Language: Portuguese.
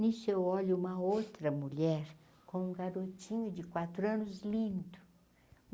Nisso eu olho uma outra mulher com um garotinho de quatro anos lindo.